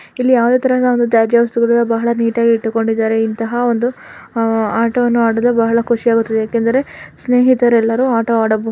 ಇಲ್ಲಿ ಯಾವುದೇ ತರಹದ ತಾಜ್ಯ ವಸ್ತುಗಳು ಇಲ್ಲ ಬಹಳ ನೀಟಾಗಿ ಇಟ್ಟುಕೊಂಡಿದ್ದಾರೆ ಇಂತಹ ಆಟ ಆಡಲು ಬಹಳ ಖುಷಿ ಆಗುತದ್ದೆ ಸ್ನೇಹಿತರೆಲ್ಲ ಸ್ನೇಹಿತರೆಲ್ಲ ಆಟ ಆಡುತಿದ್ದರೆ.